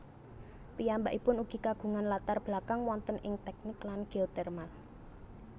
Piyambakipun ugi kagungan latar belakang wonten ing tèknik lan geotermal